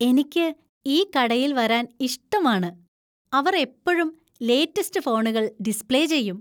എനിക്ക് ഈ കടയിൽ വരാൻ ഇഷ്ടമാണ്. അവർ എപ്പഴും ലേറ്റസ്റ്റ് ഫോണുകൾ ഡിസ്പ്ളേ ചെയ്യും.